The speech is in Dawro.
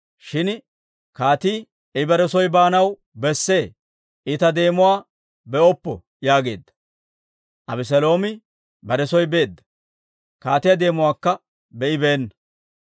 Shin kaatii, «I bare soo baanaw besse; I ta deemuwaa be'oppo» yaageedda; Abeseeloomi bare soo beedda; kaatiyaa deemuwaakka be'ibeenna.